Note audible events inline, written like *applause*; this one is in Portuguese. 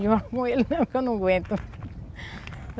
com ele é que eu não aguento. *laughs*